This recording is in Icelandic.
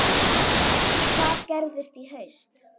Hvað gerist í haust?